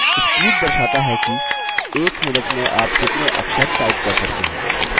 speed दर्शाता है कि एक minute में आप कितने अक्षर type कर सकते हैं